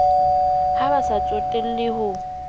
ha ba sa tsotella ho